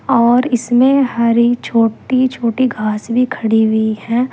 और इसमें हरी छोटी छोटी घास भी खड़ी हुई है।